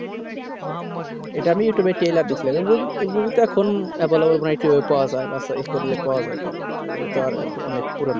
ইটা আমি youtub এ telear দেখছিলাম ওই movie তো এখন available মনে হই TV আসার রাস্তা এগুলো তো অনেক পুরোনো